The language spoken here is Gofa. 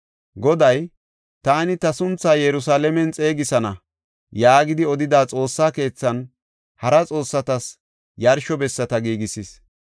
Goday, “Taani ta sunthaa Yerusalaamen xeegisana” yaagidi odida Xoossa keethan hara xoossatas yarsho bessata giigisis.